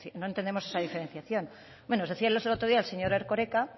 no entendemos esa diferenciación bueno nos decía el otro día el señor erkoreka